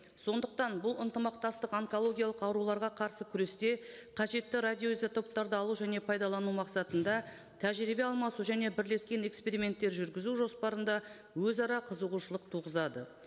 сондықтан бұл ынтымақтастық онкологиялық ауруларға қарсы күресте қажетті радиоизотоптарды алу және пайдалану мақсатында тәжірибе алмасу және бірлескен эксперименттер жүргізу жоспарында өзара қызығушылық туғызады